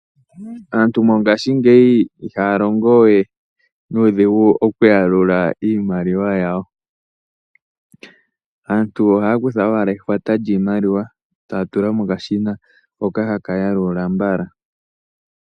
Aantu mongashingeyi ihqya longowe nuudhigu okuyalula iimaliwa yawo ohaya kutha owaa ehwata lyiimaliwa yawo eta tula mokashina noho taka yalula.